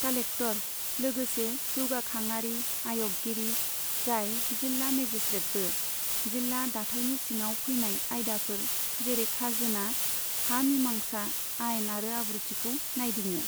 Collector, लोगोसे जौगाखांआरि आय'गगिरि, जाय जिल्ला मेजिसट्रेटबो, जिल्ला दाथायनि सिङाव फैनाय आयदाफोर जेरै खाजोना, हा मिमांसा, आइन आरो आब्रुथिखौ नायदिङो।